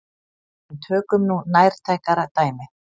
En tökum nú nærtækara dæmi.